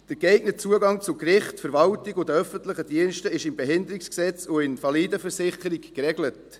Der geeignete Zugang zu Gerichten, Verwaltung und den öffentlichen Diensten ist im BehiG und in der Invalidenversicherung geregelt.